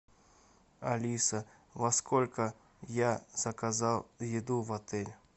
алиса во сколько я заказал еду в отель